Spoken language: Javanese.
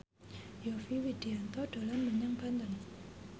Yovie Widianto dolan menyang Banten